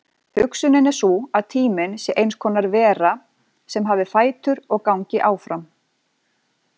Hugsunin er sú að tíminn sé eins konar vera sem hafi fætur og gangi áfram.